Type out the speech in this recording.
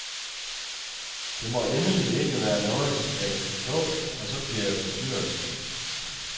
Det må endelig ikke være noget, jeg kan forstå, for så bliver jeg forstyrret.